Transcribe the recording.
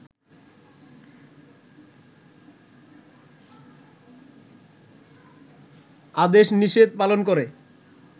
আদেশ-নিষেধ পালন করে